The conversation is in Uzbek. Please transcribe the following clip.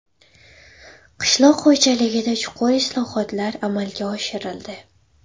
Qishloq xo‘jaligida chuqur islohotlar amalga oshirildi.